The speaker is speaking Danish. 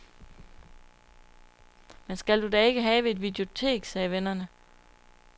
Men skal du da ikke have et videotek, sagde vennerne.